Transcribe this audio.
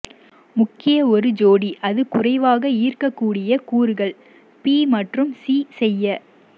முக்கிய ஒரு ஜோடி அது குறைவாக ஈர்க்கக்கூடிய கூறுகள் பி மற்றும் சி செய்ய